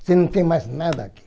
Você não tem mais nada aqui.